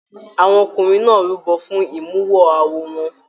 Àwọn ọkùnrin náà rúbọ fún imuwọ̀ awo wọn.